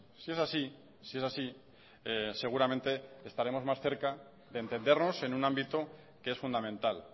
si es así si es así seguramente estaremos más cerca de entendernos en un ámbito que es fundamental